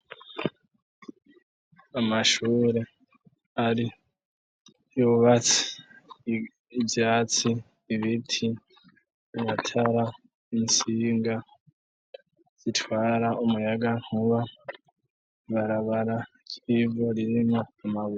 Amashure ari yubatse, ivyatsi, ibiti, amatara, intsinga zitwara umuyagankuba, ibarabara ry'ivu ririmwo amabuye.